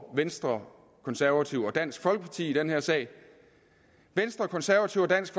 venstre konservative og dansk folkeparti i den her sag venstre konservative og dansk